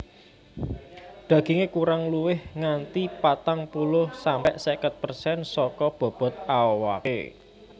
Dagingé kurang luwih nganti patang puluh sampe seket persen saka bobot awaké